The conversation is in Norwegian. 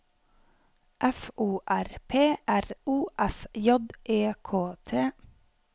F O R P R O S J E K T